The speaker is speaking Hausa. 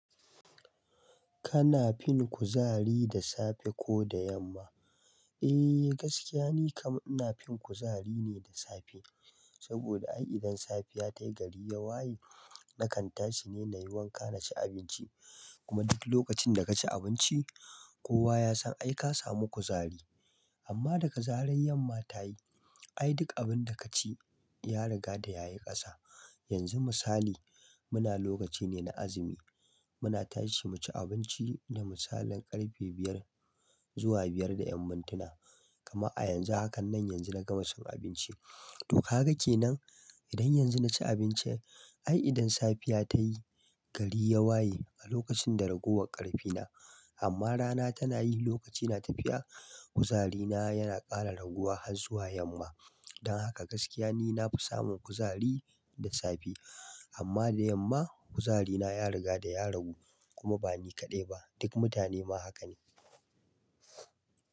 Kana fin kuzari da safe ko da yamma? Ae gaskiya nikam ina fin kuzari ne da safe saboda ai idan safiya tayi gari ya waye nakan tashi ne nayi wanka naci abinci kuma duk lokacin da kaci abinci kowa yasan ai ka samu kuzari. Amma daga zarar yamma tayi ai duk abinda kaci ya riga da yayi ƙasa. Yanzu misali muna lokaci ne na azumi muna tashi muci abinci da misalin ƙarfe biyar. Zuwa biyar da yan mintina kamar a yanzu hakanan yanzu na gama cin abinci to gaka kenan idan yanzu naci abinci ai idan safiya tayi gari ya waye a lokacin da raguwar ƙarfina amma rana tana yi lokaci na tafiya kuzarina yana ƙara raguwa har zuwa yamma don haka gaskiya ni nafi samun kuzari da safe amma da yamma kuzarina ya rigada ya ragu kuma bani kaɗai ba duk mutane ma haka ne.